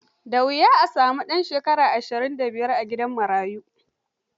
Da wuya ka sami ɗan shekara ashirin da biyar a gidan marayu.